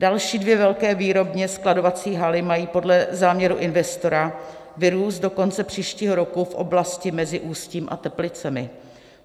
Další dvě velké výrobně-skladovací haly mají podle záměru investora vyrůst do konce příštího roku v oblasti mezi Ústím a Teplicemi.